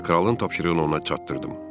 Və kralın tapşırığını ona çatdırdım.